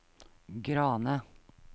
Grane